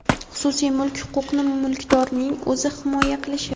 xususiy mulk huquqini mulkdorning o‘zi himoya qilishi;.